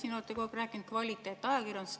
Te olete kogu aeg rääkinud kvaliteetajakirjandusest.